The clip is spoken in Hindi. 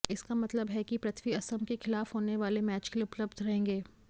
इसका मतलब है कि पृथ्वी असम के खिलाफ होने वाले मैच के लिए उपलब्ध रहेंगे